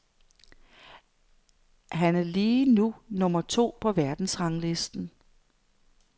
Han er lige nu nummer to på verdensranglisten.